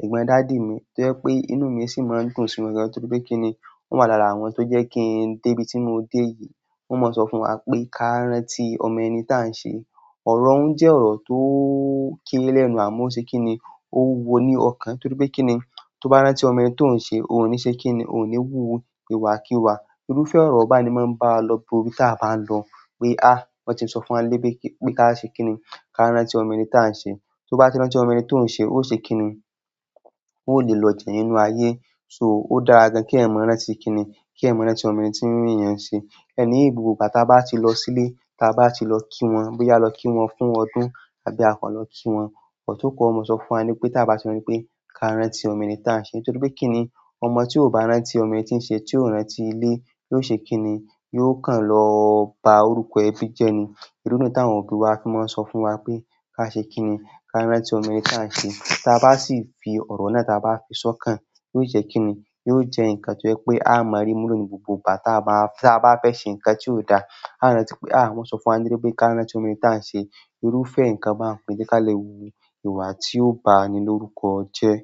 egbon daddy mi to je pe inú mi si maa n dùn si won torí pe kini o wa laara àwọn to je ki n de ibi ti mo de yi. Wọ́n máa sọ fún wa pé ká rántí ọmọ ẹni táà ń ṣe. Ọ̀rọ̀ ń jẹ́ ọ̀rọ̀ tó ń kére lẹ́nu àmọ́ ṣe kíni, ó wúwo ní ọkàn torí pé kíni, tó bá rántí ọmọ ẹni tó ń ṣe, ò ń ṣe kíni, ò ní wúwo ìwà kí wà. Irúfẹ́ oro ba n ni maa n ba wa lo gbogbo ibi tan ba lo pe a wọn tie so fún wa pe kini pe ka rántí ọmọ ẹni tan se. Tó bá ti rántí ọmọ ẹni tó ń ṣe, ó ṣe kíni, ó lè lọ jinna nínú ayé. So o dára gan ki eyan maa rántí kini ki eyan maa n rántí ọmọ ẹni ti eyan se. Ẹni gbogbo gba táa bá ti lọ sílé, táa bá ti lọ kí wọ́n, bóyá lọ kí wọ́n fún ọdún àbí a kọ́ lọ kí wọ́n, ọ̀tún kọ́ wọn máa sọ fún wa ní pé táa bá ti rántí pé ká rántí ọmọ ẹni táà ń ṣe torí pé kíni, ọmọ tí ò bá rántí ọmọ ẹni tí ń ṣe, tí ò rántí ilé, yóò ṣe kíni, yóò kàn lọ ba orúkọ ẹbí jẹ́ ni. Irú táwọn òbí wa fi máa ń sọ fún wa pé ká ṣe kíni, ká rántí ọmọ ẹni táà ń ṣe. Táa bá sì fi ọ̀rọ̀ náà táa bá fi sọ́kàn, yóò jẹ́ kíni, yóò jẹ́ ǹkan tó jẹ́ pé á máa rí ìmúlẹ̀ nínú ìbùbà táa bá fẹ́ ṣe ǹkan tí ó da. A rántí pé á, wọ́n sọ fún wa nílé pé ká rántí ọmọ ẹni táà ń ṣe. Irúfẹ́ ǹkan báa ń koni je ká lè wú ìwà tí ó bá ni lórúkọ jẹ́.